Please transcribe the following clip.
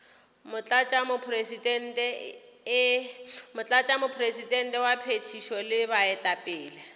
motlatšamopresidente wa phethišo le baetapele